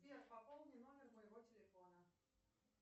сбер пополни номер моего телефона